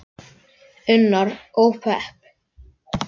Unnar: Og pepp.